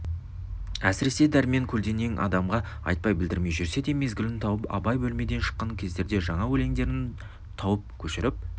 әсіресе дәрмен көлденең адамға айтпай білдірмей жүрсе де мезгілін тауып абай бөлмеден шыққан кездерде жаңа өлеңдерін тауып көшіріп